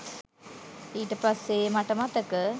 ඊට පස්සේ මට මතක